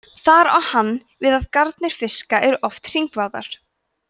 þar á hann við að garnir fiska eru oft hringvafðar